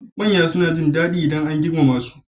Manya suna jin dadi idan an girmama su.